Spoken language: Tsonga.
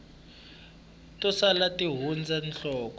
to sala ti hundza nhloko